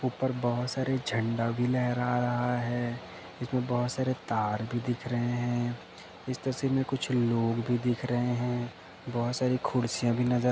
ऊपर बहुत सारे झंडा भी लहरा रहा है इसमें बहुत सारे तार भी दिख रहे हैं इस तस्वीर में कुछ लोग भी दिख रहे हैं बहोत सारी खुर्सियां भी नजर --